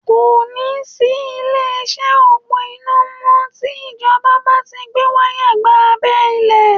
Kò ní sí ilé-iṣẹ́ òpó iná mọ́ tí Ìjọba bá ti Ń gbé wáyà gba abẹ́ ilẹ̀